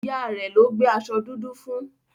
Ìyá rẹ̀ ló gbé aṣọ dúdú fún.